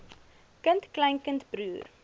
kind kleinkind broer